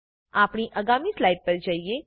આપણે આગામી સ્લાઇડ પર જઈએ